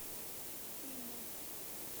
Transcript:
фильмы